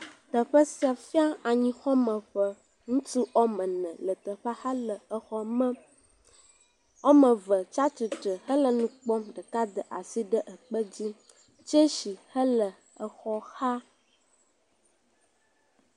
Teƒe sia fia anyixɔmeƒe ŋutsuwo ame ene le teƒea hele exɔa mem wo ame eve tia titre le nu kpɔm ɖeka da asi ɖe ekpe dzi tsesi hele xɔa xa